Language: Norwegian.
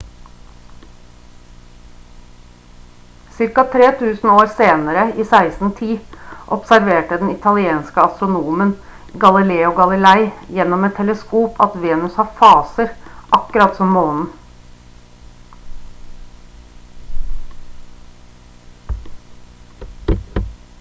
ca 3000 år senere i 1610 observerte den italienske astronomen galileo galilei gjennom et teleskop at venus har faser akkurat som månen